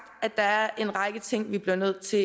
at der er en række ting vi bliver nødt til